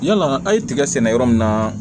Yala a' ye tiga sɛnɛ yɔrɔ min na